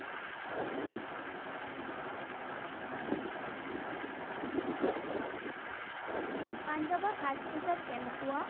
পাঞ্জাৱৰ সাজ-পোছাক কেনেকুৱা?